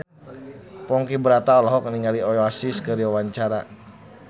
Ponky Brata olohok ningali Oasis keur diwawancara